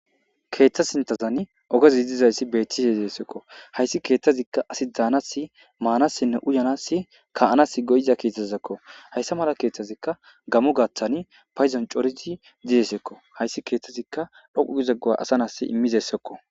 keeththa sintazan ogezi dizayssi bettise zessekko hayssi keeththazikka asi dzaanasi maanassinne uyanassi ka7anas goyza keeththazakko hayssa mala keeththazikka gamu gathtani payzon corizi didesekko hayssi keeththazikka dhoqu gize go'a asa nas immizessekko